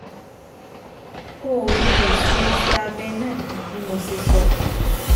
O lè ṣe iṣẹ́ abẹ náà bí mo ṣe sọ